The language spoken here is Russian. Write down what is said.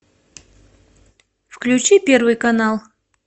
включи первый канал